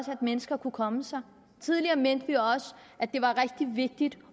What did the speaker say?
at mennesker kunne komme sig tidligere mente vi også at det er rigtig vigtigt